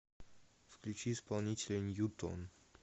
включи исполнителя ньютон